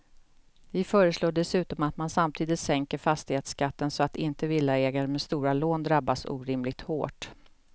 Vi föreslår dessutom att man samtidigt sänker fastighetsskatten så att inte villaägare med stora lån drabbas orimligt hårt.